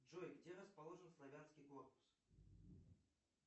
джой где расположен славянский корпус